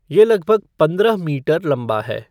ये लगभग पंद्रह मीटर लंबा है।